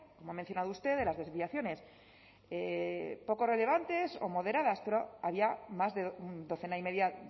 como ha mencionado usted de las desviaciones poco relevantes o moderadas pero había más de docena y media